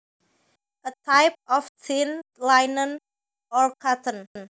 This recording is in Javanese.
A type of thin linen or cotton